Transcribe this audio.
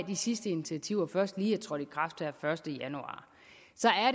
de sidste initiativer først lige er trådt i kraft her den første januar